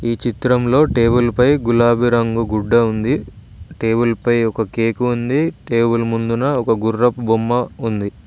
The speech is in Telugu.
ఈ చిత్రంలో టేబుల్ పై గులాబి రంగు గుడ్డ ఉంది టేబుల్ పై ఒక కేకు ఉంది టేబుల్ ముందున ఒక గుర్రపు బొమ్మ ఉంది.